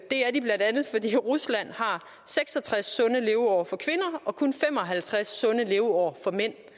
det bla fordi rusland har seks og tres sunde leveår for kvinder og kun fem og halvtreds sunde leveår for mænd